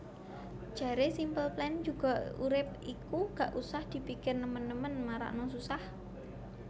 Jare Simple Plan juga urip iku ga usah dipikir nemen nemen marakno susah